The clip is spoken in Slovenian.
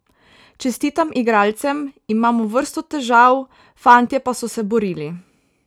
Čestitam igralcem, imamo vrsto težav, fantje pa so se borili.